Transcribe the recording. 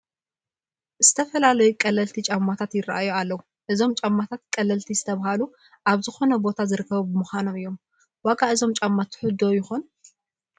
ዝተፈላለዩ ቀለልቲ ጫማታት ይርአዩ ኣለዉ፡፡ እዞም ጫማታት ቀለልቲ ዝተባህሉ ኣብ ዝኾነ ቦታ ዝርከቡ ብምዃኖም እዩ፡፡ ዋጋ እዞም ጫማ ትሑት ዶ ይኾን?